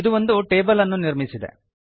ಇದು ಒಂದು ಟೇಬಲ್ ಅನ್ನು ನಿರ್ಮಿಸಿದೆ